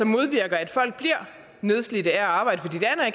modvirker at folk bliver nedslidte af at arbejde